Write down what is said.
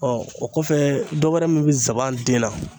o kɔfɛ dɔwɛrɛ min bi zanban den na